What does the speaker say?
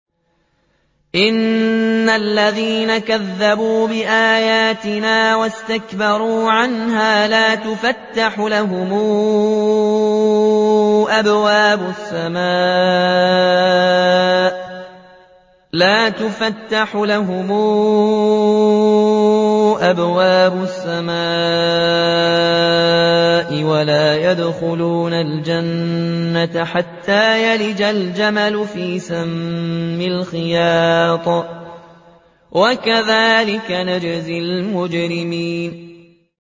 إِنَّ الَّذِينَ كَذَّبُوا بِآيَاتِنَا وَاسْتَكْبَرُوا عَنْهَا لَا تُفَتَّحُ لَهُمْ أَبْوَابُ السَّمَاءِ وَلَا يَدْخُلُونَ الْجَنَّةَ حَتَّىٰ يَلِجَ الْجَمَلُ فِي سَمِّ الْخِيَاطِ ۚ وَكَذَٰلِكَ نَجْزِي الْمُجْرِمِينَ